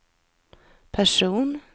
person